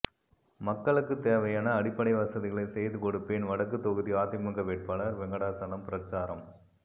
மக்களுக்கு தேவையான அடிப்படை வசதிகளை செய்து கொடுப்பேன் வடக்கு தொகுதி அதிமுக வேட்பாளர் வெங்கடாசலம் பிரசாரம்